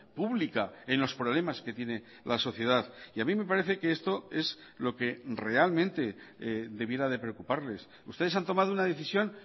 pública en los problemas que tiene la sociedad y a mí me parece que esto es lo que realmente debiera de preocuparles ustedes han tomado una decisión